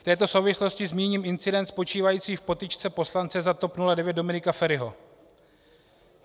V této souvislosti zmíním incident spočívající v potyčce poslance za TOP 09 Dominika Feriho.